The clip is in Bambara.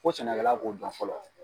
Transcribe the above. Ko sɛnɛkɛla b'o dɔn fɔlɔ